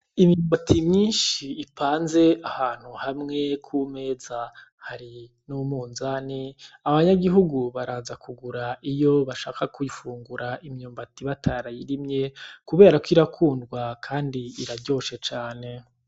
Imyumbati myinshi ipanze ahantu hamwe kumeza hari n' umunzani abanyagihugu baraza kugura iyo bashaka kuyifungura batarayirimye kubera ko ikundwa kandi iraryoshe cane.